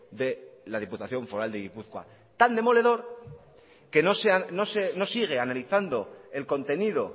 de la diputación foral de gipuzkoa tan demoledor que no sigue analizando el contenido